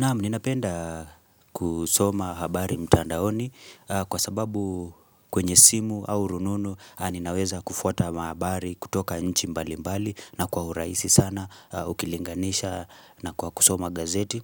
Naam, ninapenda kusoma habari mtandaoni kwa sababu kwenye simu au rununu ninaweza kufuata mahabari kutoka nchi mbali mbali na kwa urahisi sana ukilinganisha na kwa kusoma gazeti.